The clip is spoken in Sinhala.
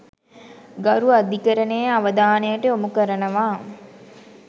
ගරු අධිකරණයේ අවධානයට යොමු කරනවා.